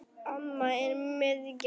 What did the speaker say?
Amma er miðjan okkar.